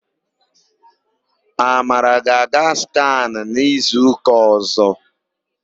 Amara ga-aga skanụ n'izuụka ọ̀zọ́.